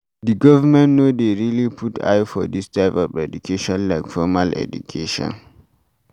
Di government no dey really put eye for this type of education like formal education